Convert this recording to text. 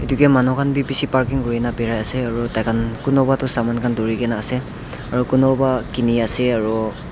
Dekeya manu khan beh beshe parking kurena parai ase aro taihan kunüpah tu saman khan dhurena ase aro kunübah kene ase aro.